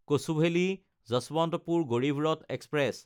কচুভেলি–যশৱন্তপুৰ Garib Rath express